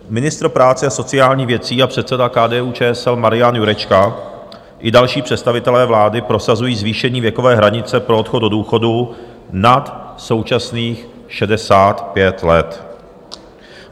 Ministr práce a sociálních věcí a předseda KDU-ČSL Marian Jurečka i další představitelé vlády prosazují zvýšení věkové hranice pro odchod do důchodu nad současných 65 let.